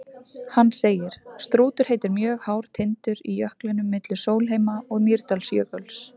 Hann segir: Strútur heitir mjög hár tindur í jöklinum milli Sólheima- og Mýrdalsjökuls.